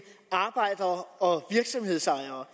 arbejdere og virksomhedsejere